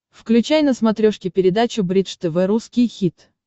включай на смотрешке передачу бридж тв русский хит